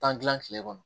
Tan kile kɔnɔ